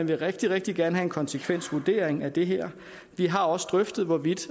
vil rigtig rigtig gerne have en konsekvensvurdering af det her vi har også drøftet hvorvidt